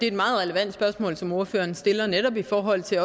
et meget relevant spørgsmål som ordføreren stiller netop i forhold til